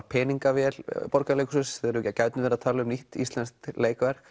peningavél Borgarleikhússins þegar við gætum verið að tala um nýtt íslenskt leikverk